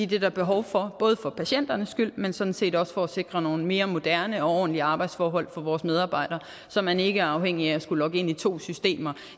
det er der behov for både for patienternes skyld men sådan set også for at sikre nogle mere moderne og ordentlige arbejdsforhold for vores medarbejdere så man ikke er afhængig af at skulle logge ind i to systemer